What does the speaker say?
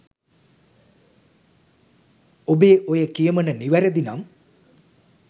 ඔබේ ඔය කියමණ නිවැරදි නම්